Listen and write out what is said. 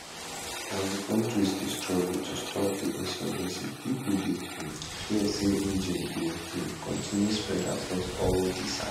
as di kontris dey struggle to stop di insurgency pipo dey um fear say jnim go um continue to spread across all di sahel